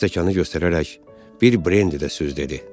Stəkanı göstərərək, bir brendi də süz dedi.